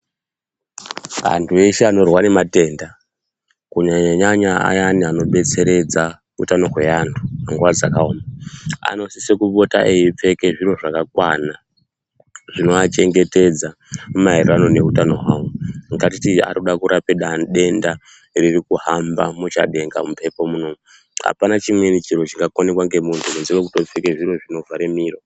Vantu veshe vanorwara matenda kunyanyanyanya aya anodetseredza utano hweantu munguwa dzakaoma anopota kusisa eipfeka zviro zvakakwana zvinovachengetedza maererano nehutano hwavo ngatiti anoda kurapika denda riri kuhamba muchadenga mumhepo munomu apana chimweni chiro chingakonekwa nemunhu kunze kwekuvhare miro.